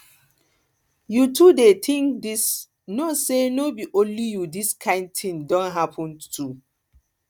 you too dey think this know say no be only you this kind thing don happen to